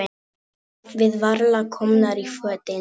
Við varla komnar í fötin.